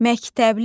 Məktəbli.